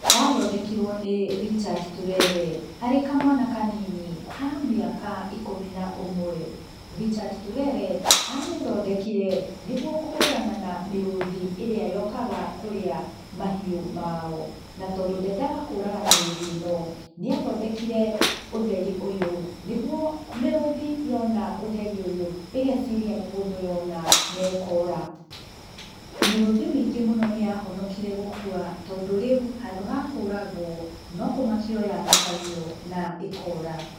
Yathondekirũo nĩ Richard Turere, ari kamwana kanini ka mĩaka ikũmi na ũmwe. Richard Turere amĩthondekire, nĩguo kũhũrana na mĩrũthi ĩrĩa yaũkaga kũrĩa mahiũ mao. Na tondũ ndendaga kũraga mĩrũthi ĩno nĩathondekire ũtheri ũyũ nĩguo mĩrũthi yona ũtheri ũyũ ĩgeciria nĩ mũndũ yona na ĩkora mĩrũthi mĩingi mũno nĩyahonokire gũkua tondũ rĩu handũ ha kũragũo, no kũmakio yamakagio na ĩkora.